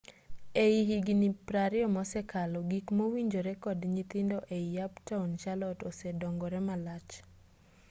e higni 20 mosekalo gik mowinjore kod nyithindo ei uptown charlotte osedongore malach